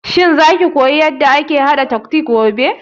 Shin za ki koya yanda ake haɗa totbokki gobe?